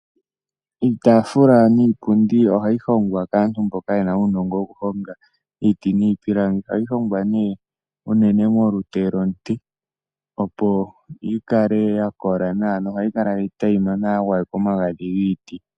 Iitaafula niipundi oha yi hongwa kaantu mboka yena uunongo woku honga iiti niipilangi oha yi hongwa nee unene molupe lomuti opo yi kale ya kola nawa noha yi kala tayi monika nawa ya tulwa omagadhi